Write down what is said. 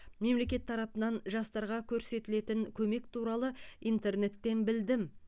мемлекет тарыпанан жастарға көрсетілетін көмек туралы интернеттен білдім